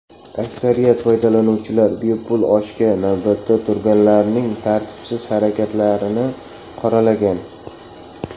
Aksariyat foydalanuvchilar bepul oshga navbatda turganlarning tartibsiz harakatlarini qoralagan.